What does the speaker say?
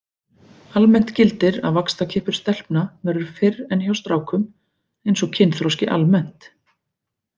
Almennt gildir að vaxtarkippur stelpna verður fyrr en hjá strákum eins og kynþroski almennt.